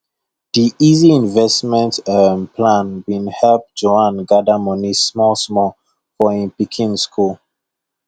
the easy investment um plan been help juan gather money small small for him pikin school